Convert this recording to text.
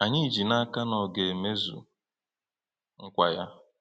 Anyị ji n’aka na ọ ga-emezu nkwa ya.